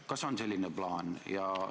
Kas on selline plaan?